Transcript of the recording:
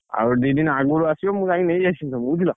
ଆଉ ଦି ଦିନ ଆଗରୁ ଆସିବ। ମୁଁ ଯାଇଁକି ନେଇ ଆସିବି ତମକୁ ବୁଝିଲ!